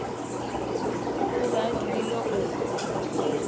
o be a dumile go